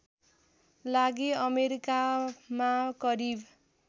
लागि अमेरिकामा करिब